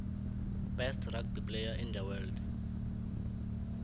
best rugby player in the world